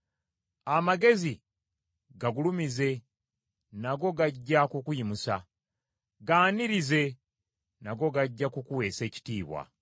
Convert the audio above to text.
Amagezi gagulumize, nago gajja kukuyimusa, gaanirize, nago gajja kukuweesa ekitiibwa.